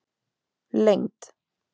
lengd